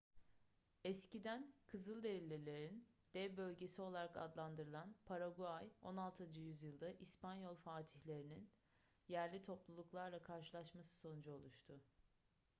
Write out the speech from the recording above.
eskiden kızılderililerin dev bölgesi olarak adlandırılan paraguay 16. yüzyılda i̇spanyol fatihlerin yerli topluluklarla karşılaşması sonucu oluştu